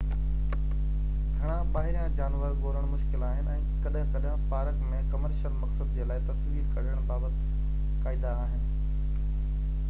گهڻا ٻاهريان جانور ڳولڻ مشڪل آهن ۽ ڪڏهن ڪڏهن پارڪ ۾ ڪمرشل مقصد جي لاءِ تصوير ڪڍڻ بابت قاعدا آهن